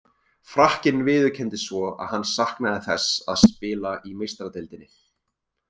Frakkinn viðurkenndi svo að hann saknaði þess að spila í Meistaradeildinni.